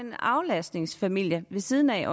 en aflastningsfamilie ved siden af